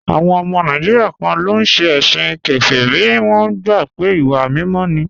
Àwọn ọmọ Nàìjíríà kan ló ń ṣe ẹ̀sìn kèfèrí, wọ́n gbà pé ìwà mímọ́ ni